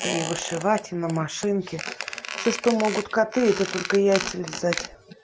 ты и вышивать и на машинке все что могут коты это только яйца лизать